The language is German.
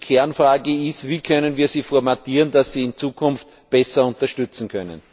Die Kernfrage ist Wie können wir sie formatieren, dass sie in Zukunft besser unterstützen können?